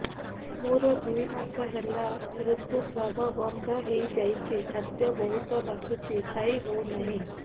ମୋର ଦୁଇ ମାସ ହେଲା ଋତୁ ସ୍ରାବ ବନ୍ଦ ହେଇଯାଇଛି ଖାଦ୍ୟ ବହୁତ ବାସୁଛି ଖାଇ ହଉ ନାହିଁ